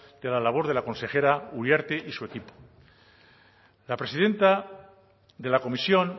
de la labor de la consejera uriarte y su equipo la presidenta de la comisión